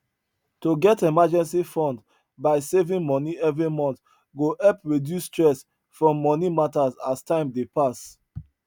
to get emergency fund by saving money every month go help reduce stress from money matter as time dey pass